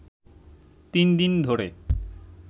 তিন দিন ধরে